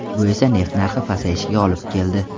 Bu esa neft narxi pasayishiga olib keldi.